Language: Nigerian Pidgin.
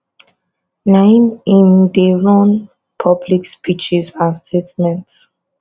na im im dey run public speeches and statements